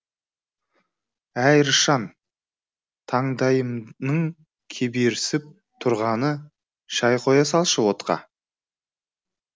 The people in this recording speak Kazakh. әй рысжан таңдайымның кеберсіп тұрғаны шай қоя салшы отқа